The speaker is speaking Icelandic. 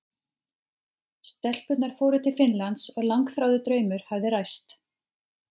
Stelpurnar fóru til Finnlands og langþráður draumur hafði ræst.